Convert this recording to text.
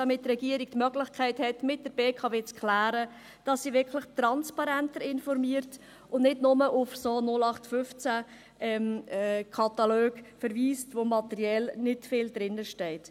Dies, damit die Regierung die Möglichkeit hat, mit der BKW zu klären, dass sie wirklich transparenter informiert und nicht nur auf so 0815-Kataloge verweist, wo materiell nicht viel drinsteht.